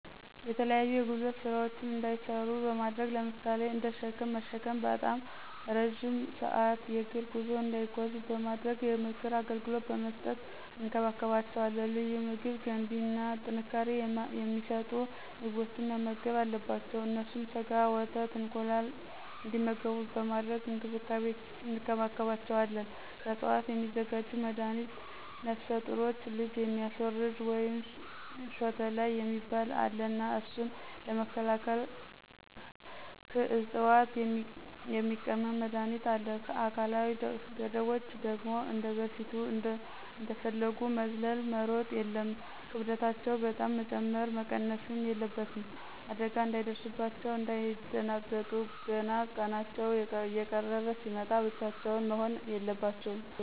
የተለያዩ የጉልበት ስራዎችን እንዳይሰሩ በማድረግ ለምሳሌ እንደ ሽክም መሽከም፥ ባጣም እረዥም ስአት የግር ጉዞ እንዳይጓዙ በማድረግ፣ የምክር አገልግሎት በመስጠት እንከባከባቸዋለን። ልዩ ምግብ ገንቢ እና ጥንካሬ የማሰጡ ምግቦችን መመገብ አለባቸው። እነሱም ሰጋ፣ ወተት፣ እንቁላል እንግዲመጉቡ በማድረግ እንከባክቤቸዌለን። ከዕፅዋት የሚዘጋጅ መድሀኒት ነፍሰጡሮች ልጅ የሚያስወርድ ወይም ሾተላይ የሚባል አለ እና እሱን ለመከላክል ክዕፅዋት የሚቀምም መድሀኒት አለ። አካላዊ ገደቦች ደግሞ እንደበፊቱ እንደፈጉ መዝለል፣ መሮጥ የለም፣ ክብደታቸው በጣም መጨመረም መቀነስም የለበትም። አዳጋ እንዳይደርስባቸው፣ እንዳይደነግጡ እና ቀናቸው እየቀረበ ሲመጣ ብቻቸውን መሆን የለበትም።